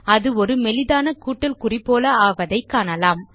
அது ஒரு மெலிதான கூட்டல் குறி போல் ஆவதை காணலாம்